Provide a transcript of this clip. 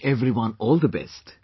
I wish everyone all the best